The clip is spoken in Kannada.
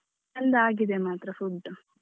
ಚೆಂದ ಆಗಿದೆ ಮಾತ್ರ food.